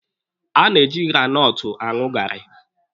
A na-eji granọtụ aṅụ gaarị.